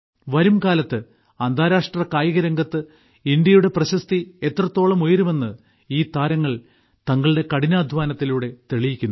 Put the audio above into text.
വരുംകാലത്ത് അന്താരാഷ്ട്ര കായികരംഗത്ത് ഇന്ത്യയുടെ പ്രശസ്തി എത്രത്തോളം ഉയരുമെന്ന് ഈ താരങ്ങൾ തങ്ങളുടെ കഠിനാധ്വാനത്തിലൂടെ തെളിയിക്കുന്നു